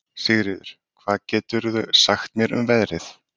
Sigríður, hvað geturðu sagt mér um veðrið?